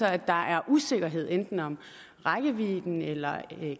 at der er usikkerhed enten om rækkevidden eller